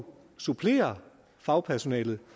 supplere fagpersonalet